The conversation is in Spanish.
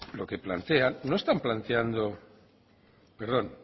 lo que plantean no están planteando perdón